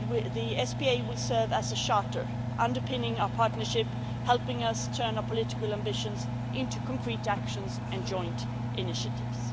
The SPA will serve as a charter, underpinning our partnership, helping us turn our political ambitions into concrete action and joint initiatives.